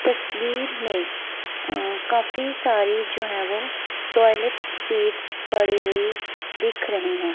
तस्वीर में अ काफी सारी जो है वो टॉयलेट सीट्स पड़ी हुई दिख रही है।